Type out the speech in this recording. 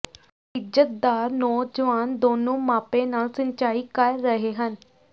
ਇੱਜ਼ਤਦਾਰ ਨੌਜਵਾਨ ਦੋਨੋ ਮਾਪੇ ਨਾਲ ਸਿੰਚਾਈ ਕਰ ਰਹੇ ਹਨ